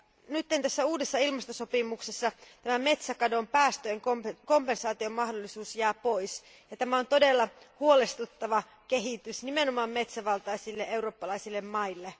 Nyt tässä uudessa ilmastosopimuksessa metsäkadon päästöjen kompensaatiomahdollisuus jää pois, ja tämä on todella huolestuttava kehitys, nimenomaan metsävaltaisille eurooppalaisille maille.